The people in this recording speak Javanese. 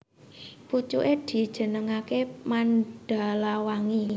Pucuké dijenengaké Mandalawangi